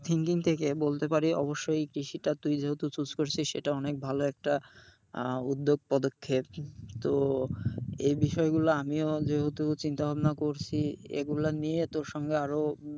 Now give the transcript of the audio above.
থেকে বলতে পারি অবশ্যই কৃষিটা তুই যেহেতু choose করেছিস সেটা অনেক ভালো একটা আহ উদ্যোগ পদক্ষেপ, তো এই বিষয়গুলো আমিও যেহেতু চিন্তা ভাবনা করছি এগুলা নিয়ে তোর সঙ্গে আরও,